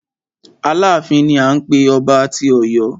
Aláàfin ni à ń pé ọba tí Ọ̀yọ́.